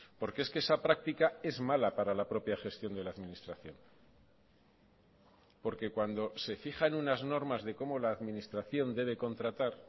porque es que esa práctica es mala para la propia gestión de la administración porque cuando se fijan unas normas de cómo la administración debe contratar